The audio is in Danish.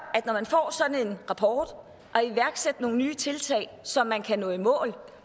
er en rapport at iværksætte nogle nye tiltag så man kan nå i mål